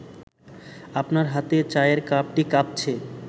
আপনার হাতে চায়ের কাপটি কাঁপছে